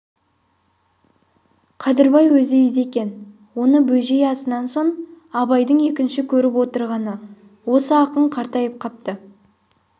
қадырбай өзі үйде екен оны бөжей асынан соң абайдың екінші көріп отырғаны осы ақын қартайып қапты